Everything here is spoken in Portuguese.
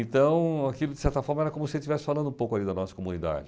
Então aquilo, de certa forma, era como se eu estivesse falando um pouco ali da nossa comunidade.